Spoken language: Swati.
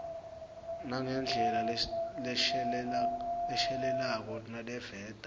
nangendlela leshelelako naleveta